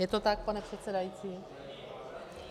Je to tak, pane předsedající?